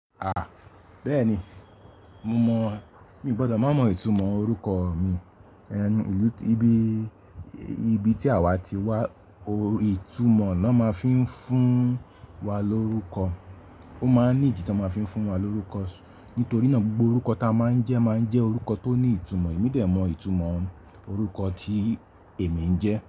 À, bẹ́ẹ̀ni, mo mọ̀. Mi ò gbọdọ̀ má mọ ìtumọ̀ orúkọ mi. Ẹnu ìlú tíbi ibi tí àwa ti wá, ìtumọ̀ ni wọ́n máa fi ń fún wa lórúkọ. Ó máa ń nídi ti won máa fi ń fún wa lórúkọ. Nítorí náà gbogbo orúkọ ta máa ń jẹ́ máa ń jẹ́ orúkọ tó ní ìtumọ̀. Èmi de mọ ìtumọ̀ orúkọ tí èmi ń jẹ́